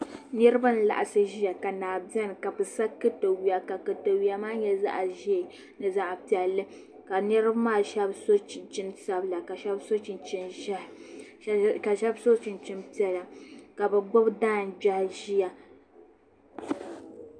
Niraba n laɣasi ʒiya ka naa biɛni ka bi sa katawiya ka katawiya maa nyɛ zaɣ ʒiɛ ni zaɣ piɛlli ka niraba maa shab so chinchin sabila ka shab ka shab so chinchin ʒiɛhi ka shab so chinchin piɛla ka bi gbubi tangbiɣi ʒiya